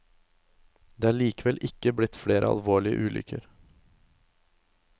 Det er likevel ikke blitt flere alvorlige ulykker.